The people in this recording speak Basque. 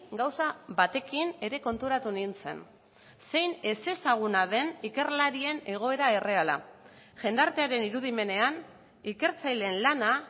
gauza batekin ere konturatu nintzen zein ezezaguna den ikerlarien egoera erreala jendartearen irudimenean ikertzaileen lana